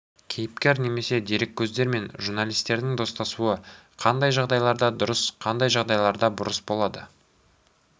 кейіпкер немесе дереккөздермен журналистердің достасуы қандай жағдайларда дұрыс қандай жағдайларда бұрыс болады